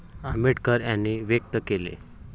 आंबेडकर यांनी व्यक्त केले.